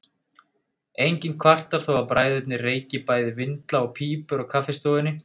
Enginn kvartar þó að bræðurnir reyki bæði vindla og pípur á kaffistofunni.